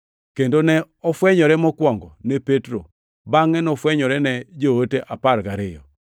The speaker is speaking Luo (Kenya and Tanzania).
kendo ne ofwenyore mokwongo ne Petro, bangʼe nofwenyore ne joote apar gariyo.